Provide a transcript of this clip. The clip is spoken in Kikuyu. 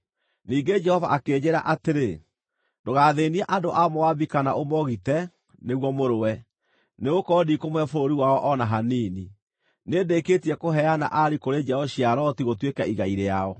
Ningĩ Jehova akĩnjĩĩra atĩrĩ, “Ndũgathĩĩnie andũ a Moabi kana ũmogite nĩguo mũrũe, nĩgũkorwo ndikũmũhe bũrũri wao o na hanini. Nĩndĩkĩtie kũheana Ari kũrĩ njiaro cia Loti gũtuĩke igai rĩao.”